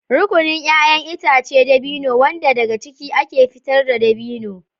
Rukunin 'ya'yan itacen dabino, wanda daga ciki ake fitar da dabino.